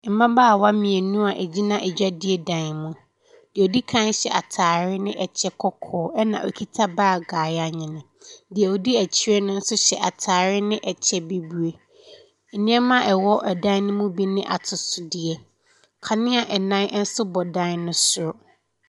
Mmaabawa mmienu a egyina adwadie dan mu. Deɛ odi kan no hyɛ ataade ne ɛkyɛ kɔkɔɔ ɛna okita baag a yanwene. Deɛ odi akyire no nso hyɛ ataare ne kyɛ bibire. Nneɛma a ɛwɔ dan mu no bi yɛ atosodeɛ. Kanea ɛnnan bi nso bɔ dan no soro.